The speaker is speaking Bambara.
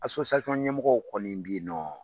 ɲɛmɔgɔw kɔni bi ye nɔ